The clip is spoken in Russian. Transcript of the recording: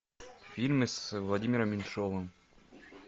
фильмы с владимиром меньшовым